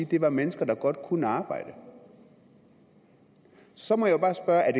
det er mennesker der godt kunne arbejde så må jeg bare spørge er